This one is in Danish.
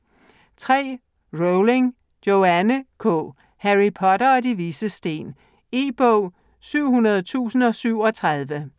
Rowling, Joanne K.: Harry Potter og De Vises Sten E-bog 700037